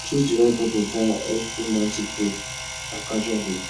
choose di right type of dat eg romantic date or casual date